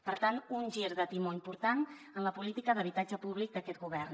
per tant un gir de timó important en la política d’habitatge públic d’aquest govern